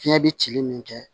Fiɲɛ bɛ cili min kɛ